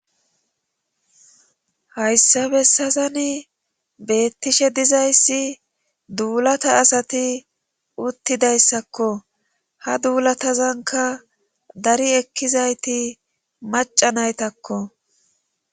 Hayssa bessazani beettishe dizayssi duulata asati uttidayssakko ha duulatazanka dari ekkizayti macanaytakko.